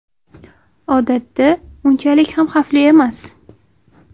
Odatda, unchalik ham xavfli emas.